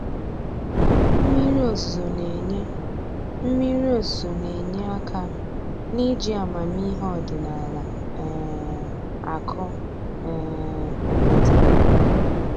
Mmiri ozuzu na-enye Mmiri ozuzu na-enye aka n'iji amamihe ọdịnaala um akụ um okpete